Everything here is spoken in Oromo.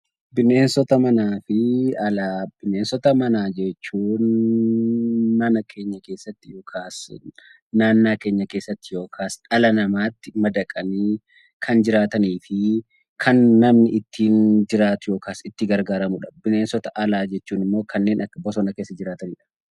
Bineensota manaa fi alaa: Bineensota manaa jechuun mana keenya keessatti yookaan naannaa keenya keessatti yookaas dhala namaatti madaqanii kan jiraataniifi kan namni ittiin jiraatu yookaan itti gargaaramudha. Bineensota alaa jechuun immoo kanneen bosona keessa jiraatanidha.